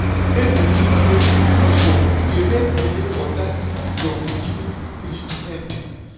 wen person help with housework e dey make belle waka easy from beginning reach end.